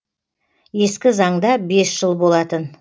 ескі заңда бес жыл болатын